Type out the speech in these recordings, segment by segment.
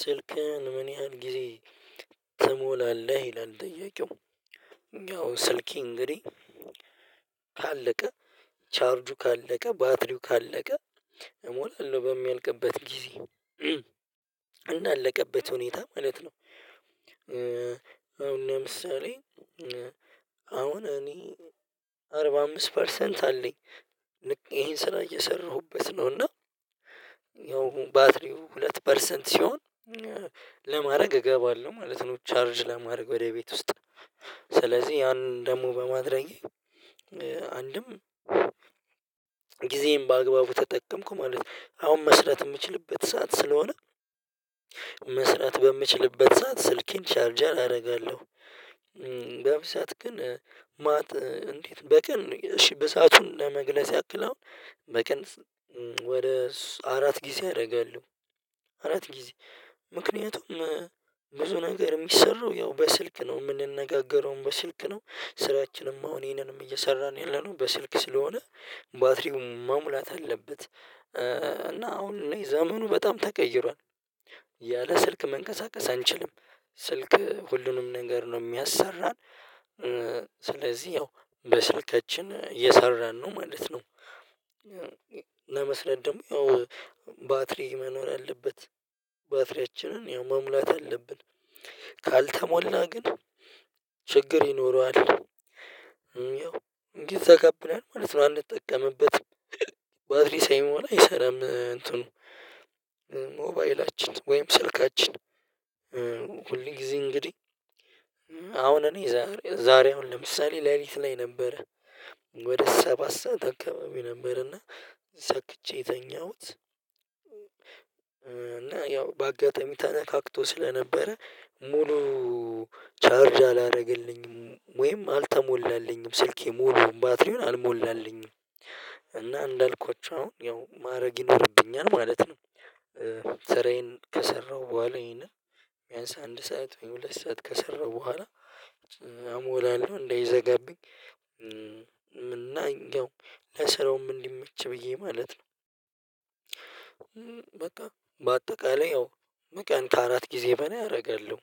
ስልክህን ምን ያህል ጊዜ ትሞላለህ ይላል ጥያቄው። ያው ስልኬ እንግዲህ ካለቀ ቻርጁ ካለቀ ባትሪው ካለቀ እሞላለሁ በሚያልቅበት ጊዜ። እንዳለቀበት ሁኔታ ማለት ነው። አሁን ለምሳሌ አሁን እኔ አርባ አምስት ፐርሰንት አለኝ። ይሄን ስራ እየሰራሁበት ነው እና ያው አሁን ባትሪው ሁለት ፐርሰንት ሲሆን ለማድረግ እገባለሁ ማለት ነው። ቻርጅ ለማድረግ ወደ ቤት ውስጥ ስለዚህ ያንን ደግሞ በማድረጌ አንድም ጊዜየን በአግባቡ ተጠቀምኩ ማለት ነው። አሁን መስራት የምችልበት ሰዓት ስለሆነ መስራት በምችልበት ሰዓት ስልኬን ቻርጀር አደርጋለሁ። በብዛት ግን እንዴት በቀን እሺ በሰአቱን ለመግለጽ ያክል አሁን በቀን ወደ አራት ጊዜ አደርጋለሁ። አራት ጊዜ ምክንያቱም ብዙ ነገር የሚሰራው ያው በስልክ ነው የምንነጋገረውም በስልክ ነው ስራችንም አሁን ይሄንንም እየሰራን ያለነው በስልክ ስለሆነ ባትሪውም መሙላት አለበት። እና አሁን እኔ ዘመኑ በጣም ተቀይሯል። ያለ ስልክ መንቀሳቀስ አንችልም ስልክ ሁሉንም ነገር ነው የሚያሰራን ስለዚህ ያው በስልካችን እየሰራን ነው ማለት ነው። ለመስራት ደግሞ ያው ባትሪ መኖር አለበት። ባትሪያችንን የመሙላት አለብን። ካልተሞላ ግን ችግር ይኖረዋል። ያው ይዘጋብናል ማለት ነው አንጠቀምበትም። ባትሪው ሳይሞላ አይሰራም እንትኑ ሞባይላችን ወይም ስልካችን ሁል ጊዜ እንግዲህ አሁን እኔ ዛሬ ዛሬ አሁን ለምሳሌ ሌሊት ላይ ነበረ ወደ ሰባት ሰዓት አከባቢ ነበረና ሰክቼ የተኛሁት እና ያው በአጋጣሚ ተነካክቶ ስለነበረ ሙሉ ቻርጅ አላደረገልኝም ወይም አልተሞላልኝም ስልኬ ሙሉ ባትሪውን አልሞላልኝም እና እንዳልኳችሁ አሁን ያው ማድረግ ይኖርብኛል ማለት ነው። ሰራዬን ከሰራሁ በኋላ ይሄንን ቢያንስ አንድ ሰዓት ወይ ሁለት ሰዓት ከሰራሁ በኋላ እሞላለሁ እንደይዘጋብኝ እና ያው ለስራውም እንዲመች ብዬ ማለት ነው። በቃ በአጠቃላይ ያው በቀን ከአራት ጊዜ በላይ አደርጋለሁ።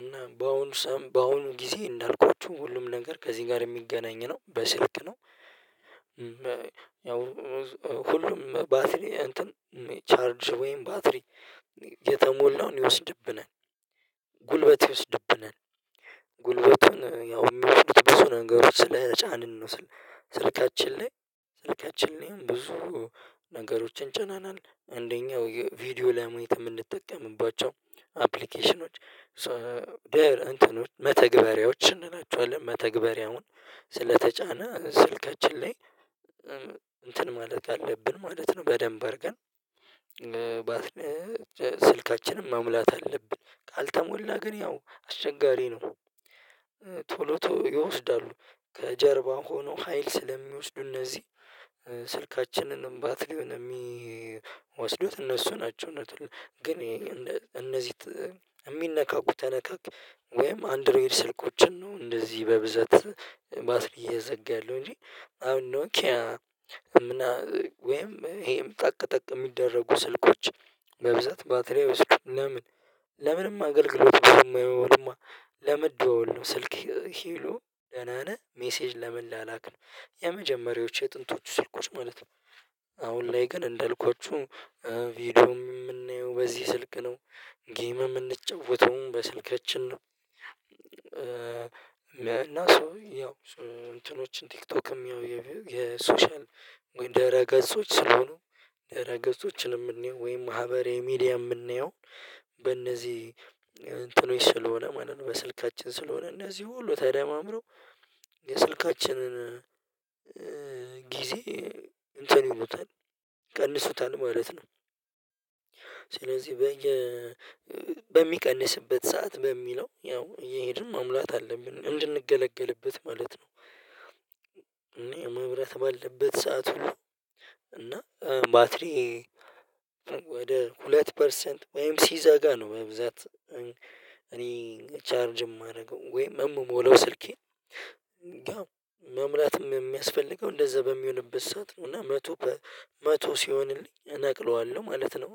እና በአሁኑ በአሁኑ ጊዜ እንዳልኩት ሁሉም ነገር ከዚህ ጋር የሚገናኝ ነው በስልክ ነው። ያው ሁሉም ባትሪ እንትን ቻርጅ ወይም ባትሪ የተሞላውን ይወስድብናል። ጉልበት ይወስድብናል። ጉልበቱን ያው የሚወስዱት ብዙ ነገሮች ስለጫንን ነው። ስልካችን ላይ ስልካችን ላይ ብዙ ነገሮችን ጭነናል አንደኛው ቪዲዮ ላይ ማየት የምንጠቀምባቸው አፕሊኬሽኖች ሶ እንትኖች መተግበሪያዎች እንላቸዋለን መተግበሪያውን ስለተጫነ ስልካችን ላይ እንትን ማለት አለብን ማለት ነው በደንብ አድርገን ስልካችንን መሙላት አለብን ካልተሞላ ግን ያው አስቸጋሪ ነው። ቶሎ ቶሎ ይወስዳሉ። ከጀርባ ሆነው ሀይል ስለሚወስዱ እነዚህ ስልካችንንም ባትሪ የሚወስዱት እነሱ ናቸው ግን እነዚህ የሚነካኩ ተነካክ ወይም አንድሬድ ስልኮችን ነው እንደዚህ በብዛት ባትሪ እየዘጋ ያለው እንጂ አሁን ኖኪያ ወይም ይሄም ጠቅ ጠቅ የሚደረጉ ስልኮች በብዛት ባትሪ አይወስዱም ለምን? ለምንም አገልግሎት አይሆኑማ ለመደዋወል ነው ስልክ ሄሉ ደህና ነህ ሜሴጅ ለመላላክ ነው። የመጀመሪያዎቹ የጥንቶቹ ስልኮች ማለት ነው። አሁን ላይ ግን እንደልኳችሁ ቪዲዮ የምናየው በዚህ ስልክ ነው ጌምም የምንጫወተውም በስልካችን ነው። እና ሰው ያው እንትኖችን ቲክቶክም ያው የሶሻል ወይ ድህረ ገጾች ስለሆኑ ድህረ ገጾችን የምናየው ወይም ማህበራዊ ሚዲያ የምናየው በእነዚህ እንትኖች ስለሆነ ማለት ነው በስልካችን ስለሆነ እነዚህ ሁሉ ተደማምረው የስልካችንን ጊዜ እንትን ይሉታል፣ ይቀንሱታል ማለት ነው። ስለዚህ በሚቀንስበት ሰዓት በሚለው ያው እየሄድን መሙላት አለብን እንድንገለገልበት ማለት ነው። እኔ መብራት ባለበት ሰዓት እና ባትሪ ወደ ሁለት ፐርሰንት ወይም ሲዘጋ ነው በብዛት እኔ ቻርጅ የማደርገው ወይ የምሞለው ስልኬን ያው መምላትም የሚያስፈልገው እንደዛ በሚሆንበት ሰዓት ነው እና መቶ መቶ ሲሆንልኝ እነቅለዋለሁ ማለት ነው።